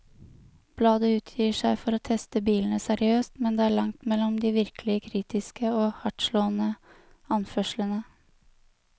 Bladet utgir seg for å teste bilene seriøst, med det er langt mellom de virkelig kritiske og hardtslående anførslene.